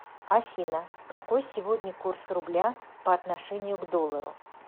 афина какой сегодня курс рубля по отношению к доллару